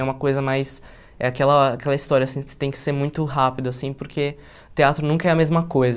É uma coisa mais... É aquela aquela história assim, você tem que ser muito rápido assim, porque teatro nunca é a mesma coisa.